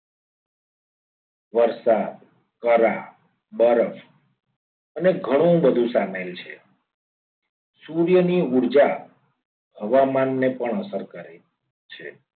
વરસાદ કરા બરફ અને ઘણું બધું સામેલ છે સૂર્યની ઉર્જા હવામાનને પણ અસર કરે છે.